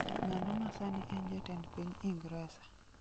ng'ano ma sani en jatend piny Ingresa